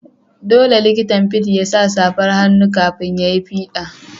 Dolle likitan fids ya sa safan hannu kafin ya yi fida.